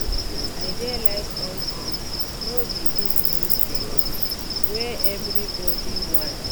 I dey like old things no be dis new things wey everybody want